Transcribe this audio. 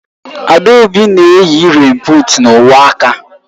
Adaobi na-eyi rèèn buut na uwe aka